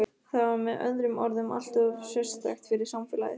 Það var með öðrum orðum alltof sérstakt fyrir samfélagið.